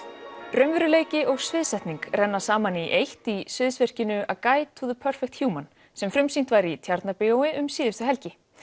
raunveruleiki og sviðsetning renna saman í eitt í sviðsverkinu a Guide to the Human sem frumsýnt var í Tjarnarbíói um síðustu helgi